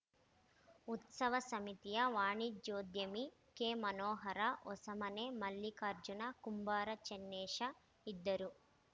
ಉತ್ಸವ ಸಮಿತಿಯ ವಾಣಿಜ್ಯೋದ್ಯಮಿ ಕೆಮನೋಹರ ಹೊಸಮನೆ ಮಲ್ಲಿಕಾರ್ಜುನ ಕುಂಬಾರ ಚನ್ನೇಶ ಇದ್ದರು